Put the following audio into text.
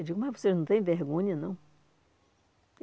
Eu digo, mas vocês não têm vergonha, não?